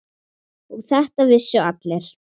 Og þetta vissu allir.